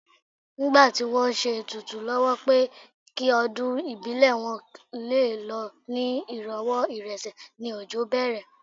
Nígbà tí wọ́n ń ṣe ètùtù lọ́wọ́ pé kí ọdún ìbílẹ̀ wọn lé lọ ní ìrọ̀wọ́ ìrọsẹ̀ ni òjò bẹ̀rẹ̀